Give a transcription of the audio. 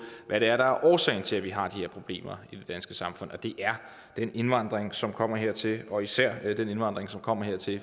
hvad det er der er årsagen til at vi har de her problemer i det danske samfund og det er den indvandring som kommer hertil og især den indvandring som kommer hertil